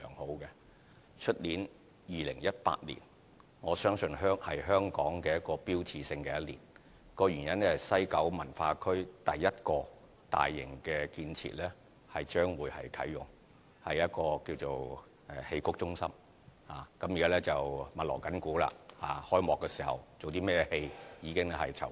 我相信明年2018年是香港標誌性的一年，原因是西九文化區第一個大型建設將會啟用，就是戲曲中心，現正密鑼緊鼓，開幕時上演的劇目現正籌備中。